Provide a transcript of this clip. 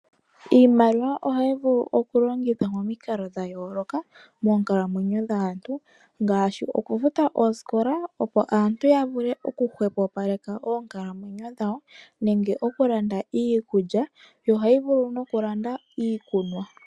Iimaliwa ohayi vulu oku longithwa momikalo dha yooloka moonkalamwenyo dhaantu, ngaashi oku futa oosikola opo aantu ya vule oku hwepopaleka oonkalamwenyo dhawo, oku landa iikulya yo ohayi vulu noku landa iikunwa.